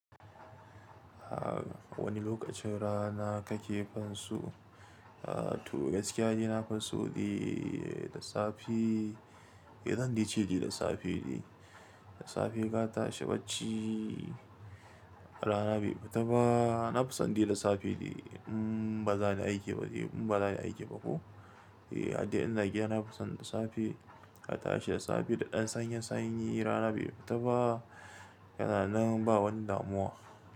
A wani lokacin rana kake finso? A to gaskiya ni na fi so dai, lissafi, eh zan ce dai lissafi dai. Da safe na tashi bacci rana bai fita ba. Na fison dai da safe dai in ba za ni aiki ba dai in ba za ni aiki ba ko. Eh haddai ina gida nafi son da safe, na tashi da safe da ɗan sanyin sanyi rana bai fita ba, yana nan ba wani damuwa.